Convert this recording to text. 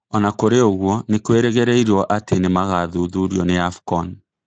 Ona Kũrĩ ũguo nĩkurĩrĩgĩrĩruo atĩ nĩmagathuthurio nĩ AFCON